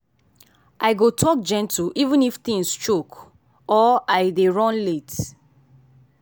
i go talk gentle even if things choke or i dey run late.